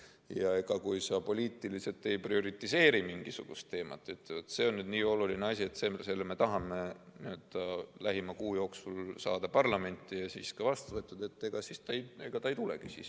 Ja kui sa poliitiliselt ei prioriseeri mingisugust teemat, ei ütle, et see on nii oluline asi, et selle me tahame lähima kuu jooksul saada parlamenti ja siis saada ka vastu võetud, ega ta siis ei tulegi.